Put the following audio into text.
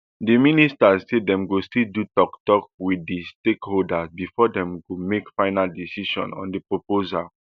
di ministry say dem go still do toktok wit stakeholders bifor dem go make final decision on di proposal